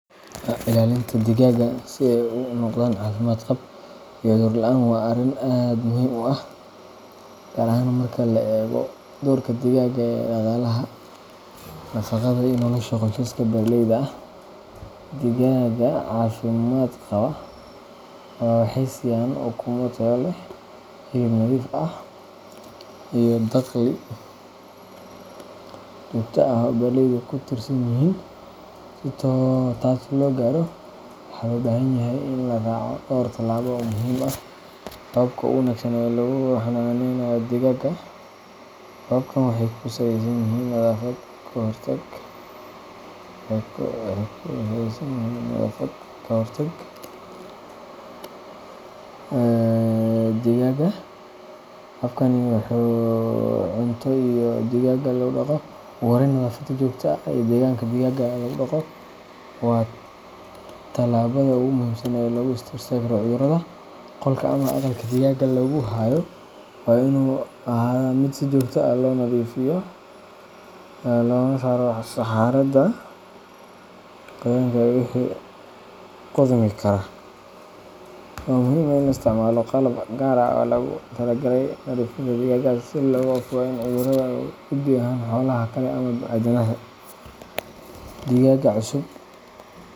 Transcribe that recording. Ilaalinta digaagga si ay u noqdaan caafimaad qab iyo cudur la’aan waa arrin aad muhiim u ah, gaar ahaan marka la eego doorka digaagga ee dhaqaalaha, nafaqada, iyo nolosha qoysaska beeraleyda ah. Digaagga caafimaad qaba waxay siiyaan ukumo tayo leh, hilib nadiif ah, iyo dakhli joogto ah oo beeraleydu ku tiirsan yihiin. Si taas loo gaaro, waxaa loo baahan yahay in la raaco dhowr talaabo oo muhiim ah oo ah hababka ugu wanaagsan ee lagu xannaaneeyo digaagga. Hababkan waxay ku saleysan yihiin nadaafad, ka hortag, cunto, iyo maamulka deegaanka digaagga lagu dhaqo. Ugu horreyn, nadaafadda joogtada ah ee deegaanka digaagga lagu dhaqo waa tallaabada ugu muhiimsan ee lagu hor istaago cudurrada. Qolka ama aqalka digaagga lagu hayo waa inuu ahaadaa mid si joogto ah loo nadiifiyo, loogana saaro saxarada, qoyaanka iyo wixii qudhmi kara. Waxaa muhiim ah in la isticmaalo qalab gaar ah oo loogu talagalay nadiifinta digaagga, si looga fogaado in cuduradu u gudbaan xoolaha kale ama aadanaha. Digaagga cusub.